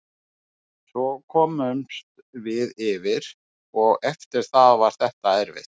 Svo komumst við yfir og eftir það var þetta erfitt.